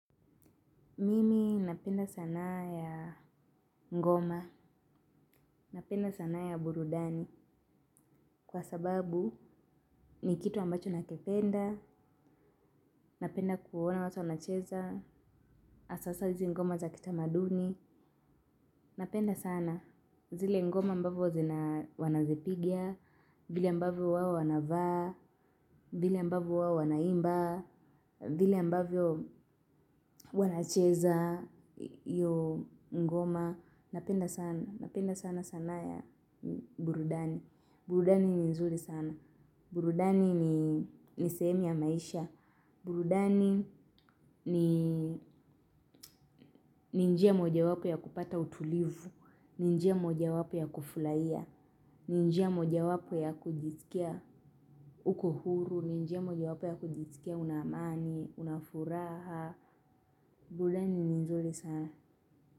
Mimi napenda sanaa ya ngoma, napenda sanaa ya burudani kwa sababu ni kitu ambacho nakipenda, napenda kuona watu wanacheza, hasahasa izi ngoma za kitamaduni, napenda sana. Zile ngoma mbavyo zina wanazipiga, vile mbavyo wao wanavaa, vile mbavyo wao wanaimbaa, vile mbavyo wanacheza iyo ngoma. Napenda sana, napenda sana sanaa ya burudani. Burudani ni nzuri sana. Burudani ni ni sehemu ya maisha. Burudani ni njia moja wapo ya kupata utulivu. Ni njia moja wapo ya kufurahia. Ni njia moja wapo ya kujiskia uko huru, ni njia moja wapo ya kujisikia una amani, unafuraha, burudani ni nzuri sana.